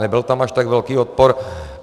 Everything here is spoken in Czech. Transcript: Nebyl tam až tak velký odpor.